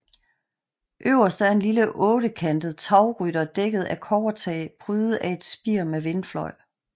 Øverst er en lille ottekantet tagrytter dækket af kobbertag prydet af et spir med vindfløj